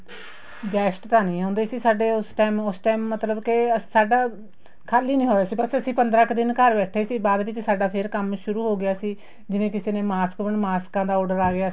guest ਤਾਂ ਨਹੀਂ ਹੁੰਦੇ ਸੀ ਸਾਡੇ ਉਸ time ਉਸ time ਮਤਲਬ ਕੇ ਸਾਡਾ ਖ਼ਾਲੀ ਨਹੀਂ ਹੋਇਆ ਸੀ ਬੱਸ ਅਸੀਂ ਪੰਦਰਾਂ ਕ਼ ਦਿਨ ਘਰ ਬੈਠੇ ਸੀ ਬਾਅਦ ਵਿੱਚ ਫ਼ਿਰ ਸਾਡਾ ਕੰਮ ਸ਼ੁਰੂ ਹੋ ਗਿਆ ਸੀ ਜਿਵੇਂ ਕਿਸੇ ਨੇ mask ਮਾਸਕਾਂ ਦਾ order ਆ ਗਿਆ ਸੀ